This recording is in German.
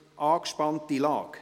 Angespannte Lage